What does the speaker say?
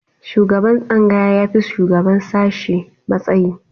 Shugaban tsangaya ya fi shugaban sashe matsayi